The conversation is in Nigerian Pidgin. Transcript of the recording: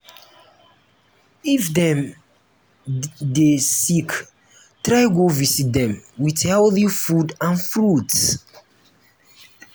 um if dem um de um sick try go visit dem with healthy food and fruits